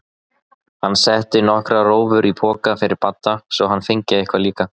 Hann setti nokkrar rófur í poka fyrir Badda svo hann fengi eitthvað líka.